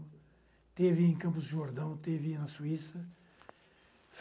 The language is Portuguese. Esteve em Campos de Jordão, esteve na Suíça.